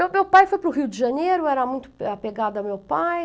Então, meu pai foi para o Rio de Janeiro, eu era muito apegada a meu pai.